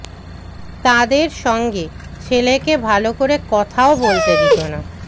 তাঁদের সঙ্গে ছেলেকে ভালো করে কথাও বলতে দিত না